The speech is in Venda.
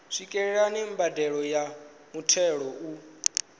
swikelela mbadelo ya muthelo u